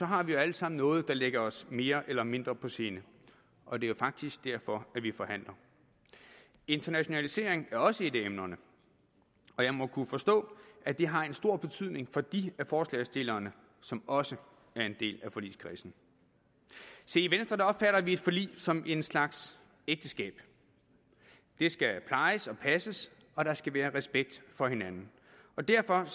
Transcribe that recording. har vi jo alle sammen noget der ligger os mere eller mindre på sinde og det er faktisk derfor at vi forhandler internationalisering er også et af emnerne og jeg må forstå at det har stor betydning for dem af forslagsstillerne som også er en del af forligskredsen se i venstre opfatter vi et forlig som en slags ægteskab det skal plejes og passes og der skal være respekt for hinanden og derfor